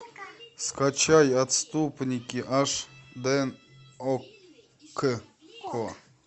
скачай отступники аш дэ окко